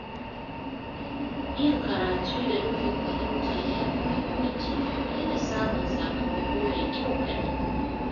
Yin karatu da nufin fahimta ya fi muhimmanci fiye da samun sakamako mai kyau kaɗai.